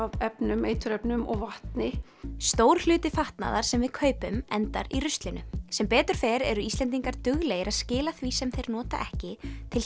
efnum eiturefnum vatni og stór hluti fatnaðar sem við kaupum endar í ruslinu sem betur fer eru Íslendingar duglegir að skila því sem þeir nota ekki til